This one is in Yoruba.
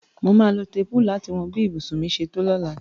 Màá lo téèpù láti wọn bí ibùsùn mi ṣe tó lóla.